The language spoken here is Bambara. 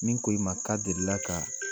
Min ko i ma k'a delila ka